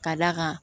Ka d'a kan